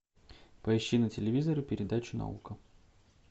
поищи на телевизоре передачу наука